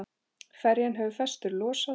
Ferjan hefur festar losað.